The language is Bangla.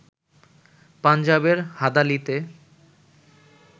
পাঞ্জাবের হাদালিতে